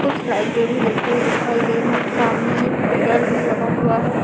कुछ लाइटें भी जलती हुई दिखाई दे रही हैं सामने एक मिरर भी लगा हुआ है।